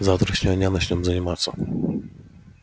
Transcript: с завтрашнего дня начнём заниматься